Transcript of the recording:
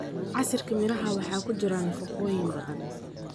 Casiirka miraha waxaa ku jira nafaqooyin badan.